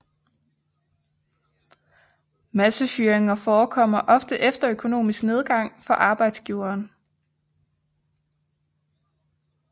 Massefyringer forekommer ofte efter økonomisk nedgang for arbejdsgiveren